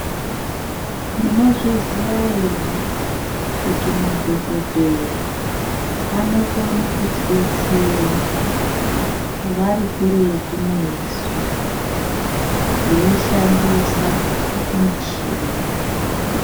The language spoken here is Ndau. Munozviziya ere kuti madhokodheya anokona kutidetsera vari kuretu nesu veishandisa michini.